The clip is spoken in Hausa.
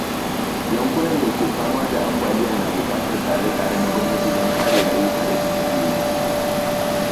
Yankunan da ke fama da ambaliya na bukatar tsare-tsare na gwamnati don kare rayuka da dukiyoyi.